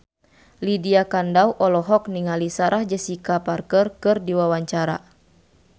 Lydia Kandou olohok ningali Sarah Jessica Parker keur diwawancara